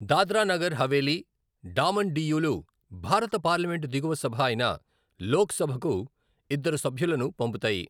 దాద్రా నగర్ హవేలీ, డామన్ డియ్యులు భారత పార్లమెంటు దిగువ సభ అయిన లోక్ సభకు ఇద్దరు సభ్యులను పంపుతాయి.